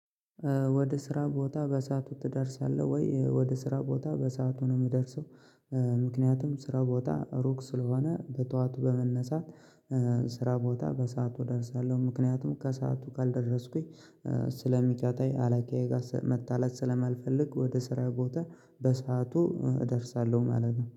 ወደ ስራ ቦታ በሰአቱ ትደርሳለህ? ወይ ወደ ስራ ቦታ በሰአቱ ነው የምደርሰው። ምክንያቱም ስራ ቦታ ሩቅ ስለሆነ በጧቱ በመነሳት ስራ ቦታ በሰአቱ እደርሳለሁ። ምክንያቱም ከሰአቱ ካልደረስኩኝ ስለሚቀጣኝ አላቃዬ ጋር መጣለት ስለማልፈልግ። ወደ ስራ ቦታ በስዓቱ እደርሳለሁ ማለት ነው